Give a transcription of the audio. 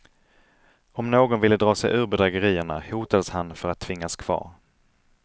Om någon ville dra sig ur bedrägerierna hotades han för att tvingas kvar.